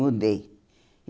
Mudei.